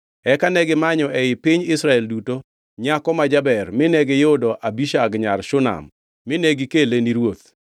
Eka negimanyo ei piny Israel duto nyako ma jaber mine giyudo Abishag nyar Shunam mine gikele ni ruoth.